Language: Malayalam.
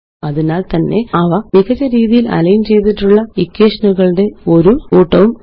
അതിനാല് തന്നെ അവ മികച്ച രീതിയില് അലൈന് ചെയ്തിട്ടുള്ള ഇക്വേഷനുകളുടെ ഒരു കൂട്ടമാണ്